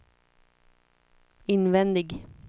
invändig